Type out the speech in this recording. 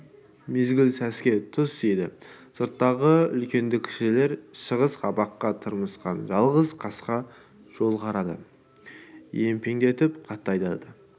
мезгіл сәске тұс еді сырттағы үлкенді-кішілер шығыс қабаққа тырмысқан жалғыз қасқа жолға карады емпеңдетіп қатты айдайды